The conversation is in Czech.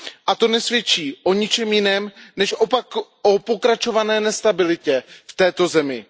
A to nesvědčí o ničem jiném než o pokračované nestabilitě v této zemi.